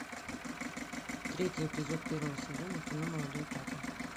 третий эпизод первого сезона кино молодой папа